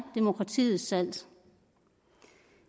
demokratiets salt